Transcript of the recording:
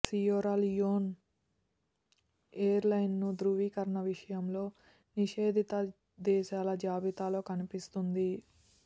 Sierra Leone airlines ధ్రువీకరణ విషయంలో నిషేధిత దేశాల జాబితాలో కనిపిస్తుంది